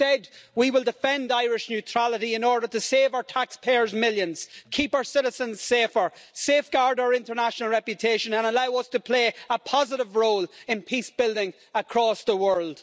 Instead, we will defend Irish neutrality in order to save our taxpayers millions, keep our citizens safer, safeguard our international reputation and allow us to play a positive role in peace building across the world.